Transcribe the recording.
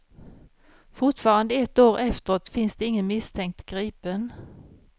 Fortfarande ett år efteråt finns ingen misstänkt gripen.